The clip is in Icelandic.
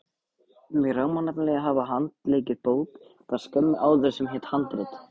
Mig rámaði nefnilega í að hafa handleikið bók þar skömmu áður sem hét Handrit.